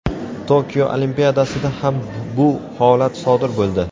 Tokio Olimpiadasida ham bu holat sodir bo‘ldi.